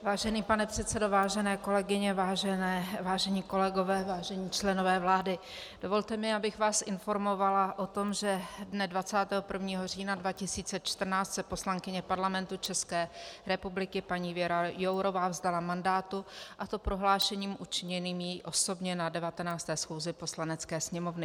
Vážený pane předsedo, vážené kolegyně, vážení kolegové, vážení členové vlády, dovolte mi, abych vás informovala o tom, že dne 21. října 2014 se poslankyně Parlamentu České republiky paní Věra Jourová vzdala mandátu, a to prohlášením učiněným jí osobně na 19. schůzi Poslanecké sněmovny.